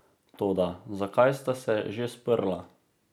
Toda, zakaj sta se že sprla?